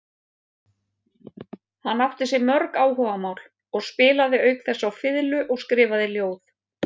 Hann átti sér mörg áhugamál og spilaði auk þess á fiðlu og skrifaði ljóð.